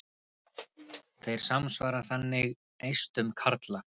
Þeir samsvara þannig eistum karla.